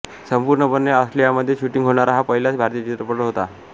संपूर्णपणे ऑस्ट्रेलियामध्ये शूटिंग होणारा हा पहिलाच भारतीय चित्रपट होता